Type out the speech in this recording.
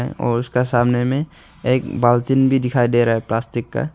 और उसका सामने में एक बाल्टीन भी दिखाई दे रहा हैं प्लास्टिक का।